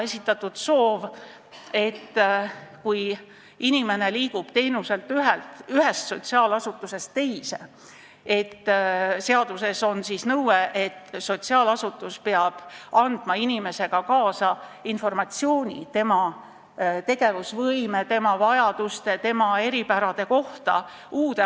Seaduses on nõue, et kui inimene liigub ühest sotsiaalasutusest teise, peab sotsiaalasutus andma inimesega uude asutusse või uuele teenuseosutajale kaasa informatsiooni tema tegevusvõime, vajaduste ja eripärade kohta.